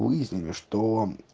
выяснили что